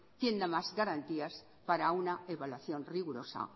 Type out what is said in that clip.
quién da más garantías para una evaluación rigurosa